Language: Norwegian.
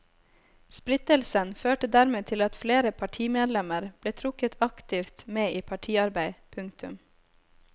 Splittelsen førte dermed til at flere partimedlemmer ble trukket aktivt med i partiarbeid. punktum